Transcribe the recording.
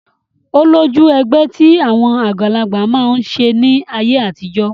Ó lójú ẹgbẹ́ tí àwọn àgbàlagbà máa ń ṣe ní ayé àtijọ́